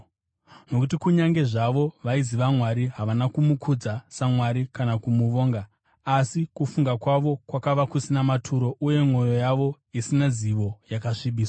Nokuti kunyange zvavo vaiziva Mwari, havana kumukudza saMwari kana kumuvonga, asi kufunga kwavo kwakava kusina maturo uye mwoyo yavo, isina zivo, yakasvibiswa.